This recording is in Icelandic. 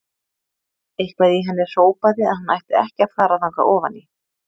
Eitthvað í henni hrópaði að hún ætti ekki að fara þangað ofan í.